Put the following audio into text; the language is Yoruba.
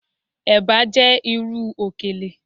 Eba jẹ iru okele